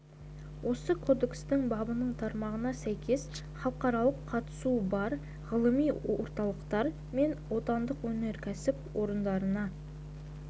осы кодекстің бабының тармағына сәйкес халықаралық қатысуы бар ғылыми орталықтар мен отандық өнеркәсіп орындарына